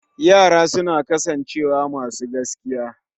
Yara suna kasancewa masu gaskiya